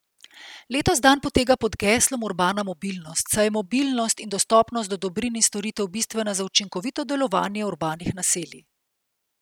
Letos dan poteka pod geslom Urbana mobilnost, saj je mobilnost in dostopnost do dobrin in storitev bistvena za učinkovito delovanje urbanih naselji.